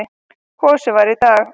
Kosið var í dag.